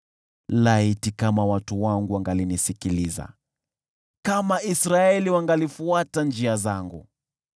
“Laiti kama watu wangu wangalinisikiliza, kama Israeli wangalifuata njia zangu,